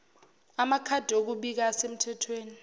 amakhadi okubika asemthethweni